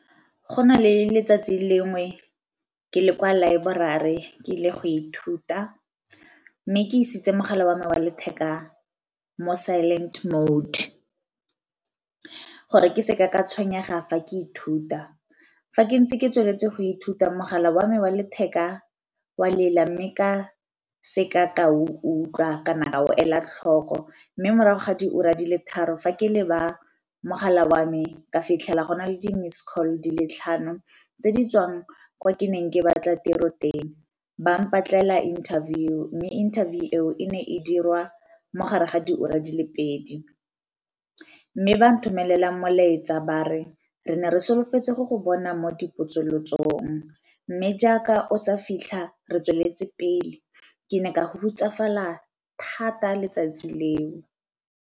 Go na le letsatsi lengwe ke le kwa laeborari ke ile go ithuta, mme ke isitse mogala wa me wa letheka mo silent mode gore ke seke ka tshwenyega fa ke ithuta. Fa ke ntse ke tsweletse go ithuta mogala wa me wa letheka wa lela, mme ka seka ka utlwa kana ka go ela tlhoko. Mme morago ga diura di le tharo fa ke leba mogala wa me ka fitlhela go na le di-missed call di le tlhano tse di tswang kwa ke neng ke batla tiro teng ba mmatlela interview mme interview eo e ne e dirwa mogare ga diura di le pedi. Mme ba nthomelela molaetsa ba re re ne re solofetse go go bona mo dipotsolotsong mme jaaka o sa fitlha re tsweletse pele ke ne ka go hutsafalela thata letsatsi leo.